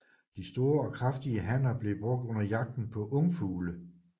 De store og kraftige hanner blev brugt under jagten på ungfugle